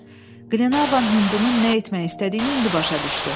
Glenarvan Hindunun nə etmək istədiyini indi başa düşdü.